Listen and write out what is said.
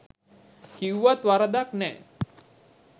කිව්වත් වරදක් නෑ